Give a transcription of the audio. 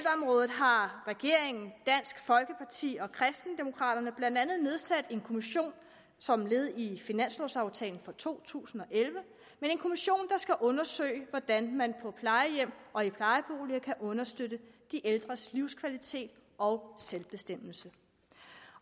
har regeringen dansk folkeparti og kristendemokraterne blandt andet nedsat en kommission som led i finanslovaftalen for to tusind og elleve en kommission der skal undersøge hvordan man på plejehjem og i plejeboliger kan understøtte de ældres livskvalitet og selvbestemmelse